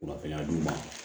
Kunnafoniya di u ma